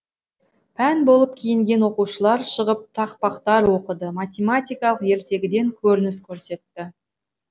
пән болып киінген оқушылар шығып тақпақтар оқыды математикалық ертегіден көрініс көрсетті